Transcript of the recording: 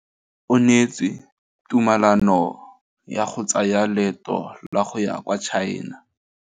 O neetswe tumalanô ya go tsaya loetô la go ya kwa China.